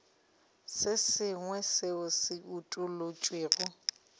se sengwe seo se utolotšwego